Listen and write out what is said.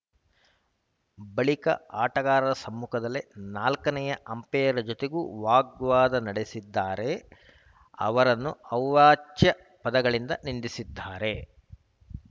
ಬಳಿಕ ಆಟಗಾರರ ಸಮ್ಮುಖದಲ್ಲೇ ನಾಲ್ಕನೇ ಅಂಪೈರ್‌ ಜತೆಗೂ ವಾಗ್ವಾದ ನಡೆಸಿದ್ದಾರೆ ಅವರನ್ನೂ ಅವಾಚ್ಯ ಪದಗಳಿಂದ ನಿಂದಿಸಿದ್ದಾರೆ